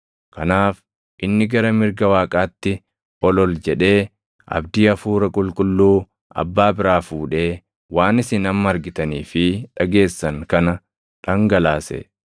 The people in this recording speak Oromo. Kanaaf inni gara mirga Waaqaatti ol ol jedhee, abdii Hafuura Qulqulluu Abbaa biraa fuudhee waan isin amma argitanii fi dhageessan kana dhangalaase.